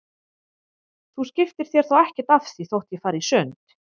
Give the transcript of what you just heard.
Þú skiptir þér þá ekkert af því þótt ég fari í sund?